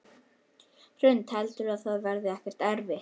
Hrund: Heldurðu að það verði ekkert erfitt?